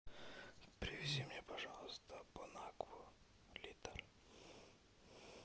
привези мне пожалуйста бонакву литр